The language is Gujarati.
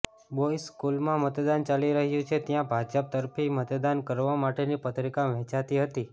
બોય્ઝ સ્કૂલમાં મતદાન ચાલી રહ્યું છે ત્યાં ભાજપ તરફી મતદાન કરવા માટેની પત્રિકા વહેંચાતી હતી